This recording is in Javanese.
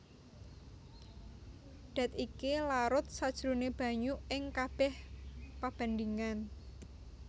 Dat iki larut sajroné banyu ing kabèh pabandhingan